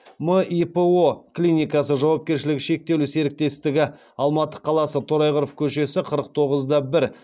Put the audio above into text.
мипо клинкасы жауапкершілігі шектеулі серіктестігі алматы қаласы торайғыров көшесі қырық тоғыз да бір